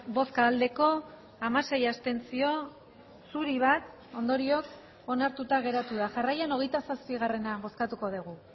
bai